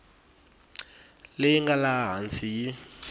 leyi nga laha hansi yi